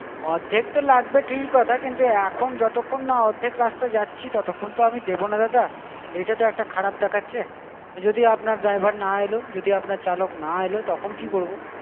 অর্ধেক তো লাগবেই ঠিকই কথা কিন্তু এখন যতক্ষণ না অর্ধেক রাস্তা যাচ্ছি ততক্ষন তো আমি দেব না দাদা, এটা তো একটা খারাপ দেখাচ্ছে যদি আপনার driver না এলো, যদি আপনার চালক না এলো তখন কি করবো?